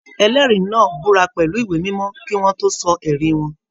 Ẹlẹri náà búra pẹlú ìwé mímọ kì wọn tó sọ ẹrí wọn.